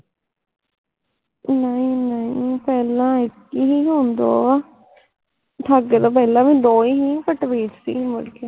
ਨਹੀਂ ਨਹੀਂ ਪਹਿਲਾ ਇਕ ਹੀਂ ਸੀ ਹੁਣ ਦੋ ਆ ਠਾਕੇ ਤੋਂ ਪਹਿਲਾ ਵੀ ਦੋ ਹੀ ਸੀ ਪੱਟ ਵੇਚ ਤੀ ਸੀ ਮੁੜ ਕੇ